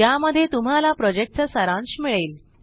ज्यामध्ये तुम्हाला प्रॉजेक्टचा सारांश मिळेल